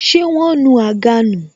Ṣé wọn nu àga nù